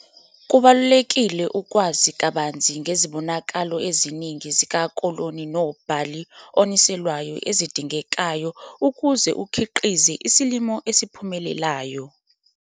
Kubalulekile ukwazi kabanzi ngezibonakalo eziningi zikakolo nobhali oniselwayo ezidingekayo ukuze ukhiqize isilimo esiphumelelayo.